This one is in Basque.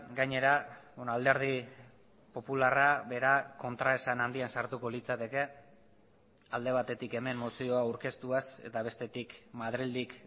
gainera alderdi popularra bera kontraesan handian sartuko litzateke alde batetik hemen mozioa aurkeztuaz eta bestetik madrildik